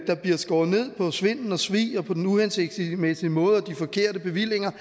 bliver skåret ned på svindel og svig og på den uhensigtsmæssige måde og de forkerte bevillinger